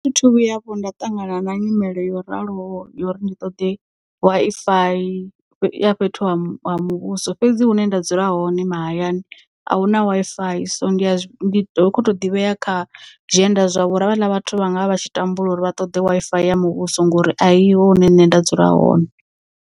Thi thu vhuya vho nda ṱangana na nyimele yo raloho yo uri ndi ṱoḓe Wi-Fi ya fhethu ha muvhuso fhedzi hune nda dzula hone mahayani ahuna Wi-Fi so ndi kho to ḓivhea kha zwienda zwavho uri havhala vhathu vha nga vha vha tshi tambula uri vha ṱoḓe Wi-Fi ya muvhuso ngori aiho hune nṋe nda dzula hone.